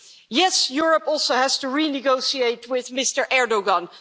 Yes, Europe also has to renegotiate with Mr Erdoğan.